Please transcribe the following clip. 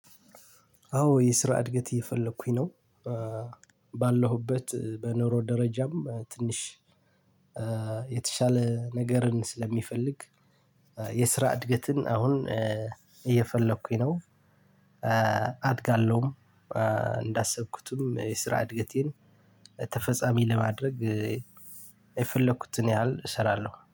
አዎ የስራ እድገት እየፈለኩኝ ነው። ባለሁበት በኑሮ ደረጃም ትንሽ የተሻለ ነገርን ስለሚፈልግ የስራ እድገትን አሁን እየፈለኩኝ ነው። አድጋለሁም። እንዳሰብኩትም የስራ እድገቴን ተፈጻሚ ለማድረግ የፈለኩትን ያህል እሰራለሁ